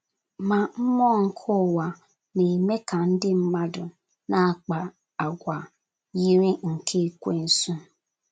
Ma mmụọ nke ụwa na - eme ka ndị mmadụ na - akpa àgwà yiri nke Ekwensu.